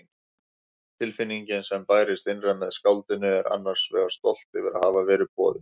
Tilfinningin sem bærist innra með skáldinu er annars vegar stolt yfir að hafa verið boðið.